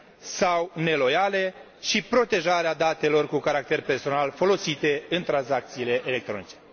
sau neloiale și protejarea datelor cu caracter personal folosite în tranzacțiile electronice.